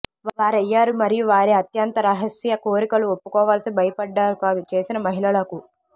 వారయ్యారు మరియు వారి అత్యంత రహస్య కోరికలు ఒప్పుకోవలసి భయపడ్డారు కాదు చేసిన మహిళలకు